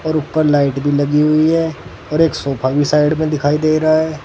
और ऊपर लाइट भी लगी हुई है और एक सोफा भी साइड में दिखाई दे रहा है।